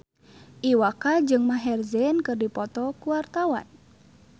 Iwa K jeung Maher Zein keur dipoto ku wartawan